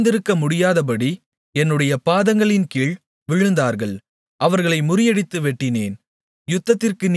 அவர்கள் எழுந்திருக்கமுடியாதபடி என்னுடைய பாதங்களின்கீழ் விழுந்தார்கள் அவர்களை முறியடித்து வெட்டினேன்